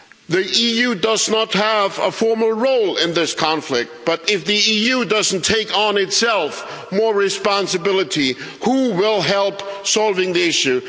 The EU does not have a formal role in this conflict, but if the EU doesn't take more responsibility on itself, who will help in solving the issue?